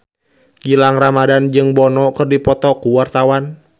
Gilang Ramadan jeung Bono keur dipoto ku wartawan